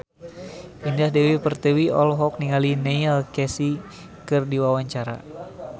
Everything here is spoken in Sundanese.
Indah Dewi Pertiwi olohok ningali Neil Casey keur diwawancara